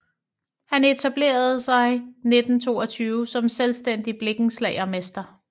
Han etablerede sig 1922 som selvstændig blikkenslagermester